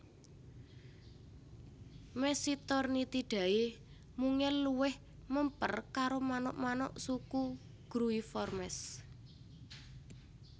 Mesitornithidae mungel luwih mèmper karo manuk manuk suku Gruiformes